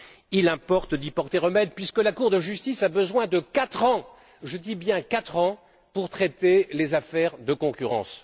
Il importe d'y porter remède puisque la Cour de justice a besoin de quatre ans je dis bien quatre ans pour traiter les affaires de concurrence.